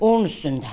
Onun üstündə.